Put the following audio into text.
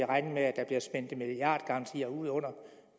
regne med at der bliver spændt milliardgarantier ud under